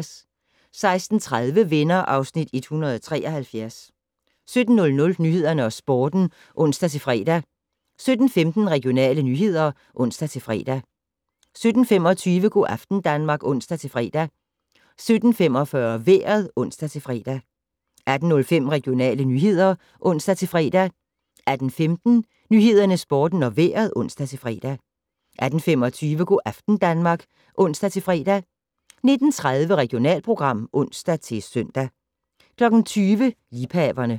16:30: Venner (Afs. 173) 17:00: Nyhederne og Sporten (ons-fre) 17:15: Regionale nyheder (ons-fre) 17:25: Go' aften Danmark (ons-fre) 17:45: Vejret (ons-fre) 18:05: Regionale nyheder (ons-fre) 18:15: Nyhederne, Sporten og Vejret (ons-fre) 18:25: Go' aften Danmark (ons-fre) 19:30: Regionalprogram (ons-søn) 20:00: Liebhaverne